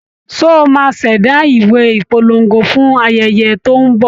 Ṣé o máa ṣẹ̀dá ìwé ìpolongo fún ayẹyẹ tó ń bọ̀?